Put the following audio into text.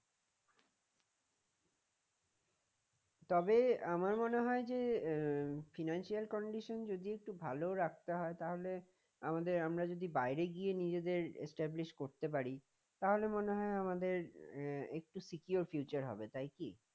তবে আমার মনে হয় যে আহ financial condition যদি একটু ভালো রাখতে হয় তাহলে আমাদের আমরা যদি বাইরে গিয়ে নিজেদের establish করতে পারি তাহলে মনে হয় আমাদের আহ একটু secure future হবে তাই কি?